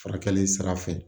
Furakɛli sira fɛ